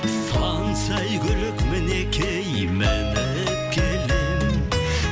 сан сәйгүлік мінекей мініп келемін